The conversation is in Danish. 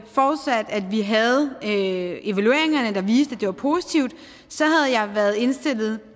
forudsat at vi havde evalueringerne der viste det er positivt så havde jeg været indstillet